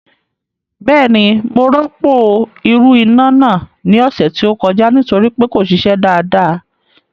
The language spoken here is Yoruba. Bẹ́ẹ̀ni mo rọ́pò ìrù iná náà ní ọ̀sẹ̀ tó kọjá nítorí pé kò ṣiṣẹ́ dáadáa